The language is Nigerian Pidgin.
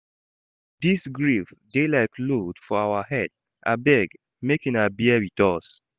Dis grief dey like load for our head, abeg make una bear wit us`.